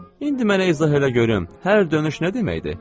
İndi mənə izah elə görüm, hər dönüş nə deməkdir?